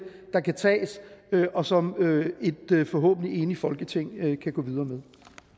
der kan tages og som et forhåbentlig enigt folketing kan gå videre med